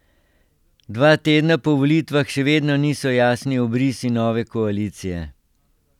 Dva tedna po volitvah še vedno niso jasni obrisi nove koalicije.